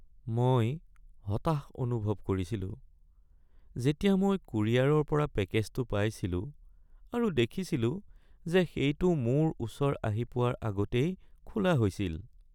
মই হতাশ অনুভৱ কৰিছিলো যেতিয়া মই কুৰিয়াৰৰ পৰা পেকেজটো পাইছিলো আৰু দেখিছিলো যে সেইটো মোৰ ওচৰ আহি পোৱাৰ আগতেই খোলা হৈছিল।